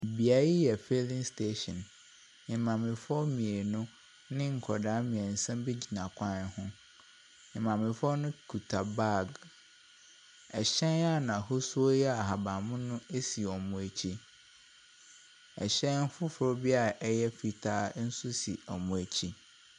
Bea yi yɛ filling station, maamefoɔ mmienu ne nkwadaa mmiɛnsa bi gyina kwan ho. Maamefoɔ no kuta bag. Ɛhyɛn a n'ahosuo yɛ ahaban mono esi wɔn akyi. ɛhyɛn foforɔ bia ɛyɛ fitaa nso si wɔn akyi.